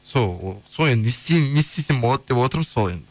сол не істеймін не істесем болады деп отырмын сол